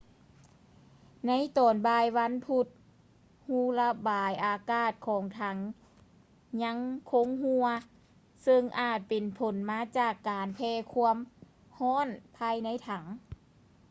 ໃນຕອນບ່າຍວັນພຸດ ຮູລະບາຍອາກາດຂອງຖັງຍັງຄົງຮົ່ວ ເຊິ່ງອາດເປັນຜົນມາຈາກການແຜ່ຄວາມຮ້ອນພາຍໃນຖັງ